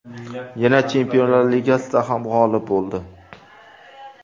Yana Chempionlar Ligasida ham g‘olib bo‘ldi.